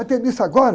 Vai ter missa agora